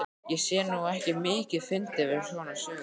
Ég sé nú ekki mikið fyndið við svona sögur.